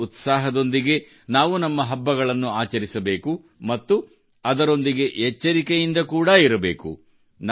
ಇದೇ ಉತ್ಸಾಹದೊಂದಿಗೆ ನಾವು ನಮ್ಮ ಹಬ್ಬಗಳನ್ನು ಆಚರಿಸಬೇಕು ಮತ್ತು ಅದರೊಂದಿಗೆ ಎಚ್ಚರಿಕೆಯಿಂದ ಕೂಡಾ ಇರಬೇಕು